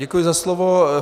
Děkuji za slovo.